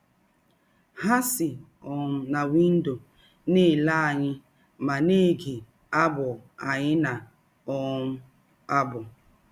Ha si um na windọ na - ele anyị ma na - ege abụ anyị na - um abụ.